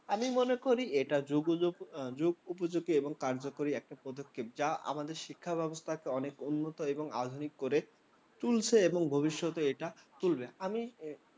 আমি মনে করি এটা যুগ যুগোপযোগী এবং কার্যকরী একটা পদক্ষেপ, যা আমাদের শিক্ষাব্যবস্থাকে অনেক উন্নত এবং আধুনিক করে তুলেছে এবং ভবিষ্যতেও এটা তুলবে।